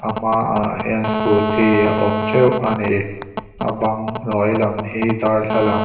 a hmaah hian scooty a awm teuh ani a bang hnuai lam hi darthlalang--